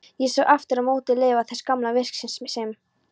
Ég sá aftur á móti leifar þess gamla virkis sem